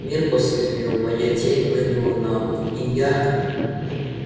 мир посветлел моя тень прыгнула на пол и я